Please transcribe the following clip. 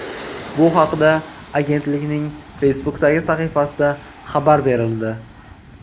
Bu haqda agentlikning Facebook’dagi sahifasida xabar berildi .